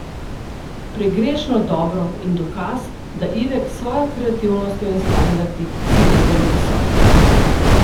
Pregrešno dobro in dokaz, da Ivek s svojo kreativnostjo in standardi cilja zelo visoko.